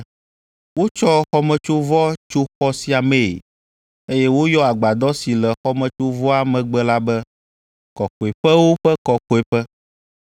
Wotsɔ xɔmetsovɔ tso xɔ sia mee, eye woyɔ agbadɔ si le xɔmetsovɔa megbe la be, Kɔkɔeƒewo ƒe Kɔkɔeƒe.